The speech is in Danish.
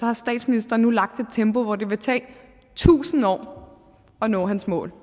har statsministeren nu lagt et tempo hvor det vil tage tusind år at nå hans mål